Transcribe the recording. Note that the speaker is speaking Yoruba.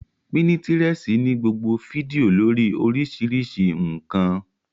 Pínítirẹsi ní gbogbo fídíò lórii oríṣiríṣi ǹkan